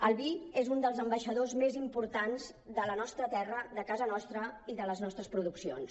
el vi és un dels ambaixadors més importants de la nostra terra de casa nostra i de les nostres produccions